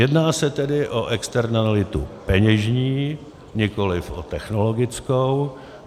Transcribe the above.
Jedná se tedy o externalitu peněžní, nikoliv o technologickou.